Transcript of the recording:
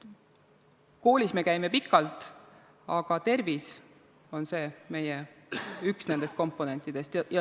Koolis me käime pikalt, aga tervis on üks nendest komponentidest.